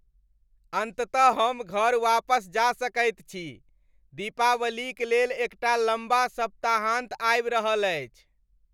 अन्ततः हम घर वापस जा सकैत छी। दीपावलीक लेल एकटा लम्बा सप्ताहान्त आबि रहल अछि।